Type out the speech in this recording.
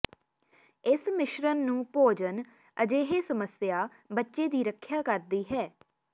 ਇਸ ਮਿਸ਼ਰਣ ਨੂੰ ਭੋਜਨ ਅਜਿਹੇ ਸਮੱਸਿਆ ਬੱਚੇ ਦੀ ਰੱਖਿਆ ਕਰਦੀ ਹੈ